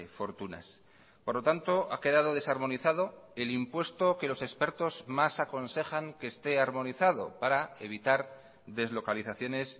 fortunas por lo tanto ha quedado desarmonizado el impuesto que los expertos más aconsejan que esté armonizado para evitar deslocalizaciones